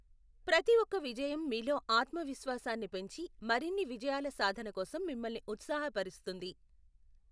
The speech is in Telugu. ప్రతి ఒక్క విజయం మీలో ఆత్మవిశ్వాసాన్ని పెంచి మరిన్ని విజయాల సాధన కోసం మిమ్మల్ని ఉత్సాహపరుస్తుంది.